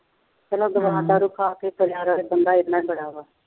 ਚੱਲੋ ਆਪ ਹੀ ਬਣਿਆ ਰਹਵੇ ਬੰਦਾ ਐਨਾ ਹੀ ਬੜਾ ਵਾ,